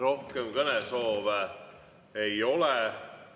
Rohkem kõnesoove ei ole.